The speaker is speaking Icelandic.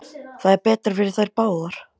Það er betra fyrir þær báðar.